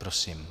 Prosím.